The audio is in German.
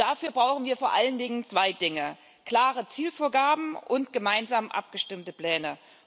Dafür brauchen wir vor allen Dingen zwei Dinge klare Zielvorgaben und gemeinsam abgestimmte Pläne.